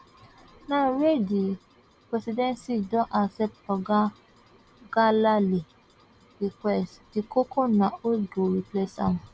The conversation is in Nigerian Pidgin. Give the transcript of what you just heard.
now wey di presidency don accept oga ngelale request di koko na who go replace am